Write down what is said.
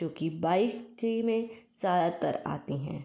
जोकि बाइक ही में ज़्यादातर आते हैं।